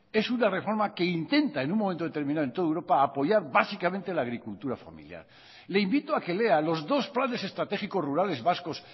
es una reforma que intenta en un momento determinado en toda europa apoyar básicamente la agricultura familiar le invito a que lea los dos planes estratégicos rurales vascos